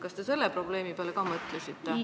Kas te selle probleemi peale ka mõtlesite?